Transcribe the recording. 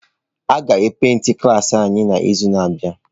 A ga e paintị klaasị anyị n'izu na-abịa.